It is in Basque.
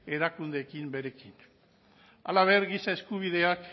erakundeekin berekin halaber giza eskubideak